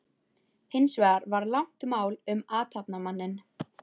Hins vegar var langt mál um athafnamanninn